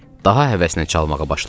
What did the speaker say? Daha həvəsnə çalmağa başladım.